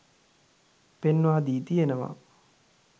පෙන්වා දී තියෙනවා.